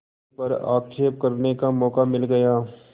उन पर आक्षेप करने का मौका मिल गया